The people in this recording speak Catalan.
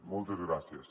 moltes gràcies